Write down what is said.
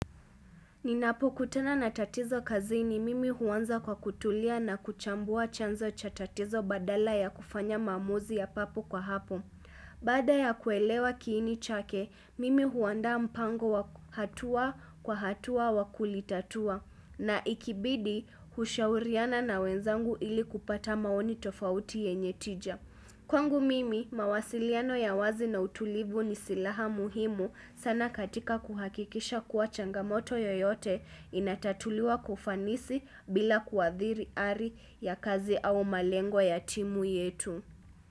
Ninapokutana na tatizo kazini mimi huanza kwa kutulia na kuchambua chanzo cha tatizo badala ya kufanya maamuzi ya papo kwa hapo. Baada ya kuelewa kiini chake, mimi huanda mpango wa hatua kwa hatua wa kulitatua na ikibidi hushauriana na wenzangu ili kupata maoni tofauti yenye tija. Kwangu mimi, mawasiliano ya wazi na utulivu ni silaha muhimu sana katika kuhakikisha kuwa changamoto yoyote inatatuliwa kwa ufanisi bila kuadhiri ari ya kazi au malengo ya timu yetu.